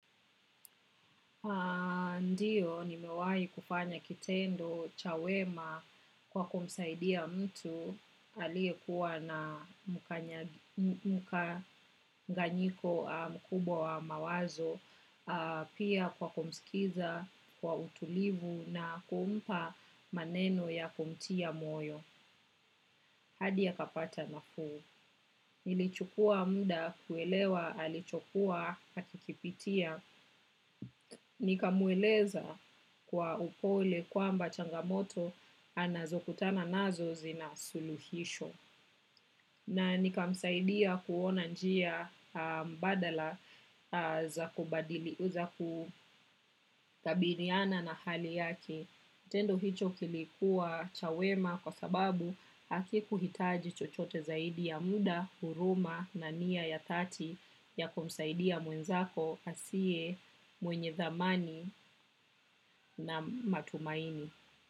Ndiyo ni mewai kufanya kitendo chawema kwa kumsaidia mtu aliye kuwa na mkanganyiko mkubwa wa mawazo pia kwa kumsikiza kwa utulivu na kumpa maneno ya kumtia moyo. Hadi ya akapata na fuu. Nili chukua mda kuelewa alichokua akikipitia. Nika mueleza kwa upole kwamba changamoto anazo kutana nazo zina suluhisho. Na nika msaidia kuona njia mbadala za kubadili u za kutabiliana na hali yake. Tendo hicho kilikuwa chawema kwa sababu haki kuhitaji chochote zaidi ya muda, huruma na nia ya tati ya kumsaidia mwenzako asiye mwenye thamani na matumaini.